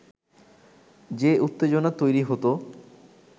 যে উত্তেজনা তৈরি হতো